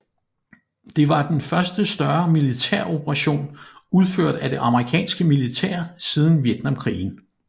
Det var den første større militæroperation udført af det amerikanske militær siden vietnamkrigen